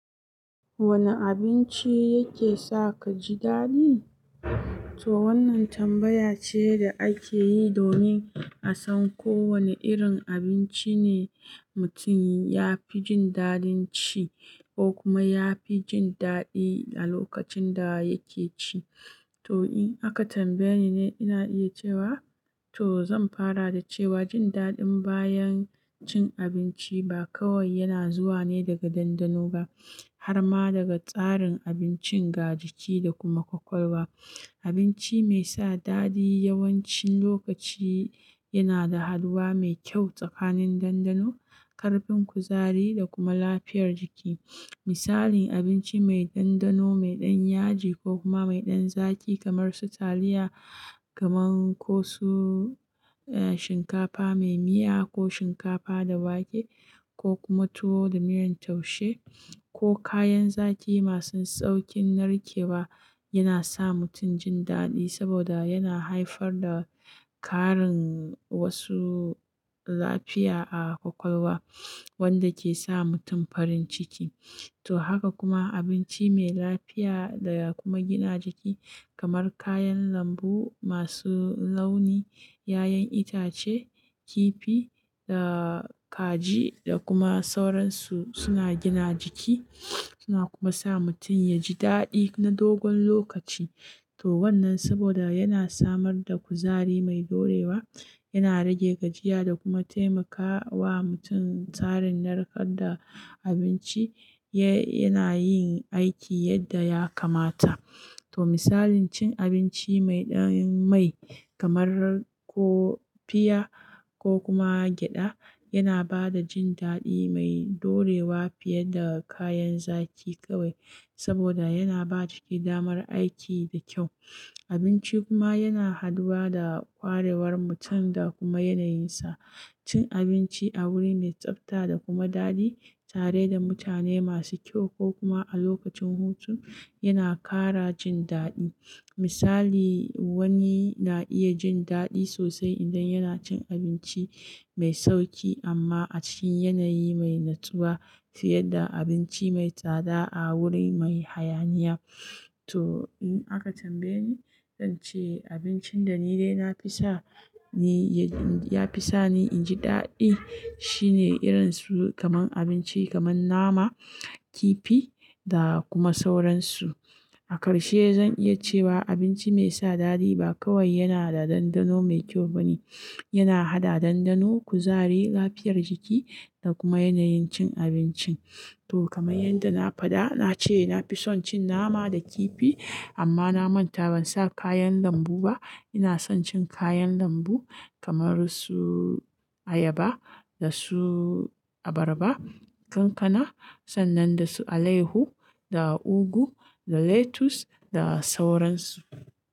Wane abinci yake sa ka ji daɗi? To wannan tambaya ce da ake yi domin a san ko wane irin abinci ne mutum ya fi jin daɗin ci ko kuma ya fi jin daɗi a lokacin da yake ci. To in aka tambaye ni, ina iya cewa, to zan fara da cewa jin daɗin bayan cin abinci ba kawai yana zuwa ne daga dandano ba, har ma daga tsarin abincin, ga jiki da kuma kwakwalwa. Abinci mai sa daɗi yawancin lokaci yana da haduwa mai kyau tsakanin dandano, karfin kuzari da kuma lafiyar jiki. Misalin abinci mai dandano, mai ɗan yaji ko kuma mai ɗan zaki kamar su taliya, kamar su shinkafa mai miya ko shinkafa da wake ko kuma tuwo da miyan taushe ko kayan zaki masu saukin narkewa yana sa mutum jin dadi saboda yana haifar da karin wasu. Lafiya a kwakwalwa wanda ke sa mutum farin ciki. To haka kuma abinci mai lafiya da ya kuma gina jiki kamar kayan lambu masu launi, ƴaƴan itace, kifi da kaji da kuma sauransu su na gina jiki ya kuma sa mutum yaji dadi na dogon lokaci to wannan saboda yana samar da kuzari mai dorewa, yana rage gajiya da kuma taimakawa mutum tsarin narkar da abinci ya, yana yin aiki yadda ya kamata. To misalin cin abinci mai ɗan mai kamar ko pear ko kuma gyaɗa yana ba da jin daɗi mai dorewa fiye da kayan zaki kawai saboda yana ba jiki damar aiki da kyau. Abinci kuma yana haduwa da kwarewar mutum da kuma yanayinsa. Cin abinci a wuri mai tsafta da kuma daɗi tare da mutane masu kyau ko kuma a lokacin hutu yana ƙara jin daɗi. Misali, wani na iya jin daɗi sosai idan yana cin abinci mai sauki amma a cikin yanayi mai natsuwa fiye da abinci mai tsada a wuri mai hayaniya. To in aka tambaye ni, zan ce abincin da ni dai na fi sa ni ya fi sa ni in ji daɗi shine irin su kamar abinci kamar nama, kifi da kuma sauransu. A karshe zan iya cewa abinci mai sa daɗi ba kawai yana da dandano mai kyau ba ne, yana haɗa dandano, kuzari, lafiyar jiki da kuma yanayin cin abincin. To kamar yadda na faɗa, na ce na fi son cin nama da kifi amma na manta ban sa kayan lambu ba. Ina son cin kayan lambu kamar su ayaba, da su abarba, kankana sannan da su alehu da ugu, da lettuce da sauransu.